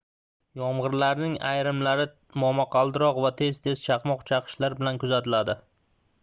yomgʻirlarning ayrimlari momaqaldiroq va tez-tez chaqmoq chaqishlar bilan kuzatildi